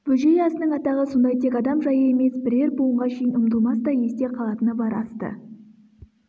бөжей асының атағы сондай тек адам жайы емес бірер буынға шейін ұмытылмастай есте қалатыны бар асты